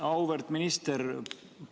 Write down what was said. Auväärt minister!